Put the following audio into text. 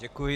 Děkuji.